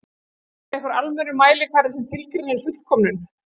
Er til einhver almennur mælikvarði sem tilgreinir fullkomnun?